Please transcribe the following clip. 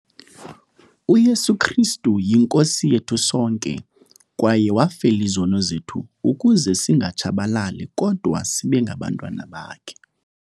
UYesu Kristu yiNkosi yethu sonke kwaye wafela izono zethu ukuze singatshabalali kodwa sibengabantwana bakhe.